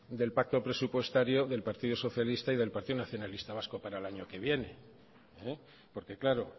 del pacto presupuestario del partido socialista y del partido nacionalista vasco para el año que viene porque claro